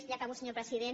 ja acabo senyor president